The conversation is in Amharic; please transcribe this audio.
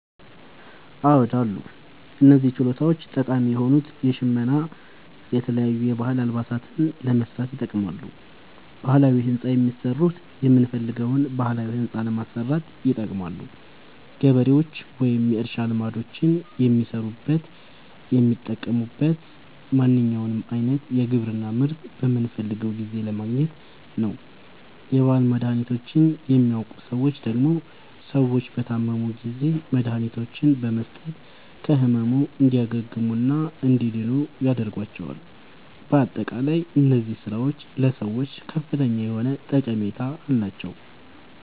አዎድ አሉ። እነዚህ ችሎታዎች ጠቃሚ የሆኑት ሸመና የተለያዩ የባህል አልባሳትን ለመስራት ይጠቅማሉ። ባህላዊ ህንፃ የሚሠሩት የምንፈልገዉን ባህላዊ ህንፃ ለማሠራት ይጠቅማሉ። ገበሬዎች ወይም የእርሻ ልማዶችን የሚሠሩት የሚጠቅሙት ማንኛዉንም አይነት የግብርና ምርት በምንፈልገዉ ጊዜ ለማግኘት ነዉ። የባህል መድሀኒቶችን የሚያዉቁ ሠዎች ደግሞ ሰዎች በታመሙ ጊዜ መድሀኒቶችን በመስጠት ከህመሙ እንዲያግሙና እንዲድኑ ያደርጓቸዋል። በአጠቃላይ እነዚህ ስራዎች ለሰዎች ከፍተኛ የሆነ ጠቀሜታ አላቸዉ።